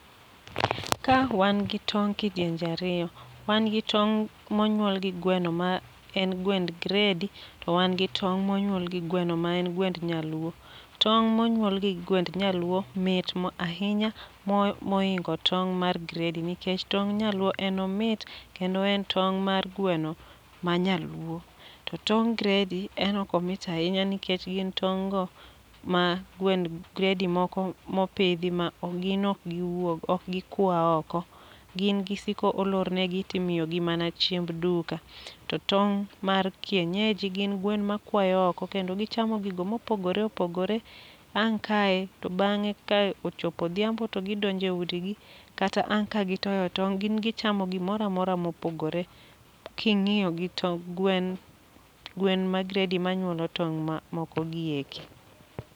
Ka wan gi tong' kidienje ariyo. Wan gi tong' monyuol gi gweno ma en gwend gredi, to wan gi tong' monyuol gi gweno ma en gwend nyaluo. Tong' monyuol gi gwend nyaluo mit ahinya moingo tong' mar gredi, nikech tong' nyaluo en omit kendo en tong' mar gweno ma nyaluo. Tong' gredi en ok omit ahinya nikech gin tong' go ma gwend gredi moko mopidhi ma ok gin ok giwuog ok gikwa oko. Gin gisiko olornegi timiyo gi mana chiemb duka. To tong' mar kienyeji gin gwen ma kwayo oko kendo gichamo gigo mopogore opogore . Ang' kae to bang'e ka ochopo odhiambo to gidonje udi gi, kata ang' ka gitoyo tong' gin gichamo gimora mora mopogore. King'iyo gi to gwen gwen ma gredi ma nyuolo tong' ma moko gieki.